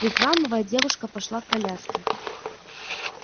прихрамывая девушка пошла к коляске